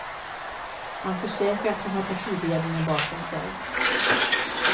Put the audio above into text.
Han försäkrar att han har partiledningen bakom sig.